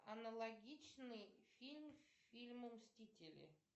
аналогичный фильм фильму мстители